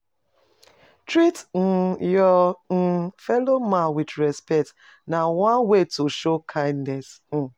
Treat um your um fellow man with respect, na one way to show kindness